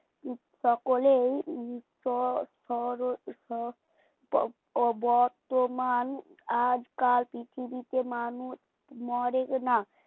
সকলেই উম খ খরো খ বর্তমান আজকাল পৃথিবীতে মানুষ মরেনা